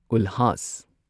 ꯎꯜꯍꯥꯁ